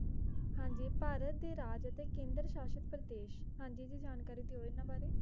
ਹਾਂਜੀ ਭਾਰਤ ਦੇ ਰਾਜ ਅਤੇ ਕੇਂਦਰ ਸ਼ਾਸ਼ਤ ਪ੍ਰਦੇਸ਼ ਹਾਂਜੀ ਜੀ ਜਾਣਕਾਰੀ ਦਿਓ ਏਨਾ ਬਾਰੇ